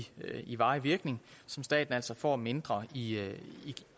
i varig virkning som staten altså får mindre i